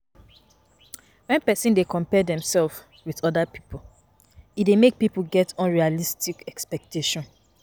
When person dey compare themself with oda pipo, e dey make pipo get unrealistic expectation